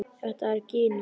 Þetta er Gína!